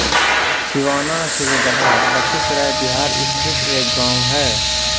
सिवाना सूर्यगढा लखीसराय बिहार स्थित एक गाँव है